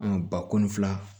bakɔni fila